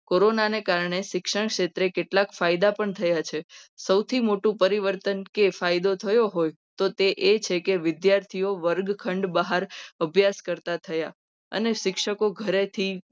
કોરોનાને કારણે શિક્ષણ ક્ષેત્રે કેટલાક ફાયદા પણ થયા છે. સૌથી મોટું પરિવર્તન કે ફાયદો થયો હોય તો એ છે. કે વિદ્યાર્થીઓ વર્ગખંડ બહાર અભ્યાસ કરતા થયા. અને શિક્ષકો ઘરેથી